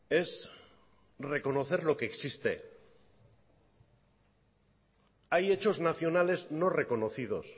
es reconocer lo que existe hay hechos nacionales no reconocidos